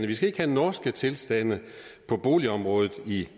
vi skal ikke have norske tilstande på boligområdet i